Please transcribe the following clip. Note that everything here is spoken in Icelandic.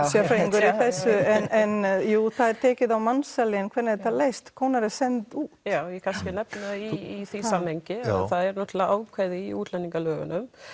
sérfræðingur í þessu en jú það er tekið á mansali en hvernig er þetta leyst konur eru sendar út já ég kannski nefni það í því samhengi að það er ákvæði í útlendingalögunum